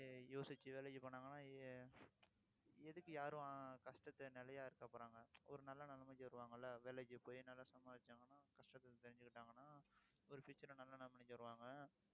யோசிச்சு வேலைக்கு போனாங்கன்னா எ~ எதுக்கு யாரும் கஷ்டத்தை நிலையா இருக்க போறாங்க ஒரு நல்ல நிலைமைக்கு வருவாங்கல்ல வேலைக்கு போய் நல்லா சம்பாரிச்சாங்கன்னா கஷ்டத்தை தெரிஞ்சுக்கிட்டாங்கன்னா ஒரு future அ நல்ல நிலைமைக்கு வருவாங்க